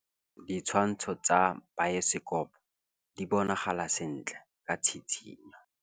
Ditshwantshô tsa biosekopo di bonagala sentle ka tshitshinyô.